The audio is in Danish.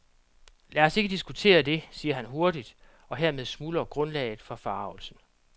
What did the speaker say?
Lad os ikke diskutere det, siger han hurtigt, og hermed smuldrer grundlaget for forargelsen.